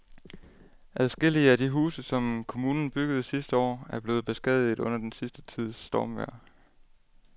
Adskillige af de huse, som kommunen byggede sidste år, er blevet beskadiget under den sidste tids stormvejr.